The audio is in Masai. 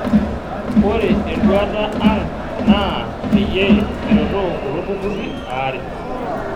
Ore enduata ang' naa peyie kiretoo kulo tururi aare.